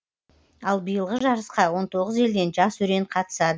ал биылғы жарысқа он тоғыз елден жас өрен қатысады